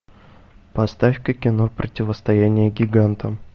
поставь ка кино противостояние гигантам